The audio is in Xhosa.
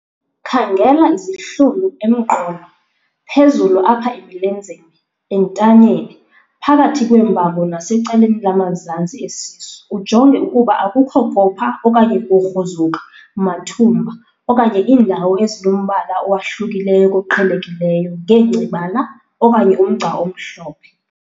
Khangela izihlunu emqolo, phezulu apha emilenzeni, entanyeni, phakathi kweembambo nasecaleni lamazantsi esisu ujonge ukuba akukho kopha okanye kugruzuka, mathumba okanye iindawo ezinombala owahlukileyo koqhelekileyo ngengcebala okanye umgca omhlophe.